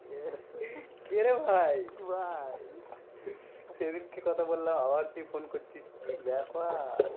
কেরে ভাই? ভাই সেদিনকে কথা বললাম আবার তুই phone করছিস, কি ব্যাপার?